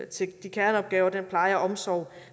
til de kerneopgaver og den pleje og omsorg